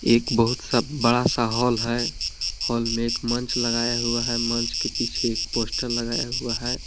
एक बहुत सब बड़ा सा हाल है हाल में एक मंच लगाया हुआ है मंच के पीछे एक पोस्टर लगाया हुआ है।